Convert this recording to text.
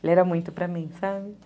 Ele era muito para mim, sabe?